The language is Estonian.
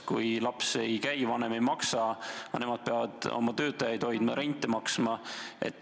Kui laps kohal ei käi, siis vanem ei maksa, aga nemad peavad ju oma töötajaid hoidma ja renti maksma.